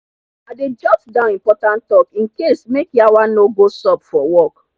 i dey jot down important talk in case make yawa no go sup for work